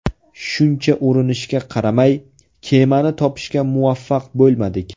Shuncha urinishga qaramay, kemani topishga muvaffaq bo‘lmadik.